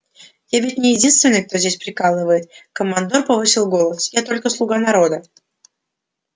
я ведь не единственный кто здесь приказывает командор повысил голос я только слуга народа